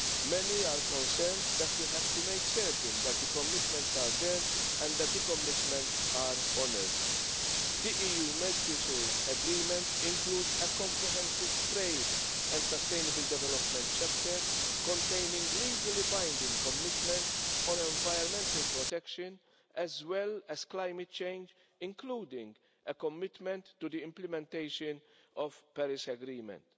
Many are concerned that we have to make certain that the commitments are there and that the commitments are honoured. The EU-Mercosur Agreement includes a comprehensive trade and sustainable development chapter containing legally binding commitments on environmental protection, as well as climate change, including a commitment to the implementation of the Paris Agreement.